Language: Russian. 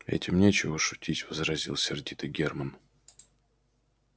этим нечего шутить возразил сердито германн